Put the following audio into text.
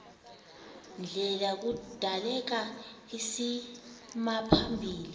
ndlela kudaleka isimaphambili